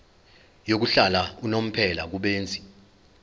yokuhlala unomphela kubenzi